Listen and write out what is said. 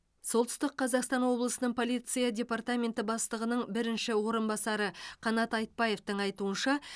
солтүстік қазақстан облысының полиция департаменті бастығының бірінші орынбасары қанат айтбаевтың айтуынша